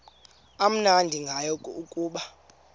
amnandi ngayo kukuba